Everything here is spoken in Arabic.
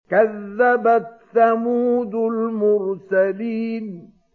كَذَّبَتْ ثَمُودُ الْمُرْسَلِينَ